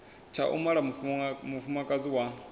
tsha u mala mufumakadzi wa